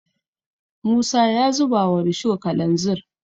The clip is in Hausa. musa ya zuba wa rusho kalanzir